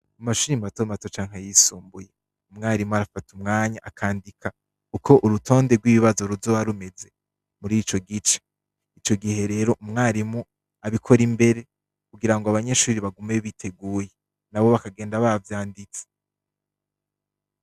Mu mashuri i matomato canke yisumbuye umwarimu arafata umwanya akandika uko urutonde rw'ibibazo ruzoba rumeze muri ico gice ico gihe rero umwarimu abikora imbere kugira ngo abanyeshuri bagume biteguye na bo bakagenda ba vyanditse.